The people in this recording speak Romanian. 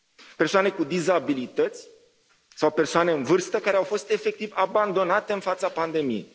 persoane cu dizabilități sau persoane în vârstă care au fost efectiv abandonate în fața pandemiei.